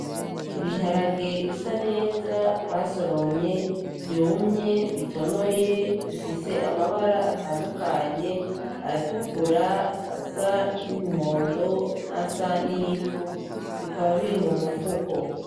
Ibiharage bisa neza basoromye vyumye bitonoye, bifise amabara atandukanye:ayatukura, ayasa n'umuhondo n'ayasa n'ivu, bikaba biri mu mufuko.